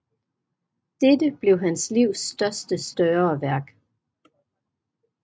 Dette blev hans livs sidste større værk